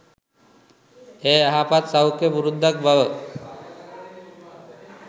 එය යහපත් සෞඛ්‍යය පුරුද්දක් බව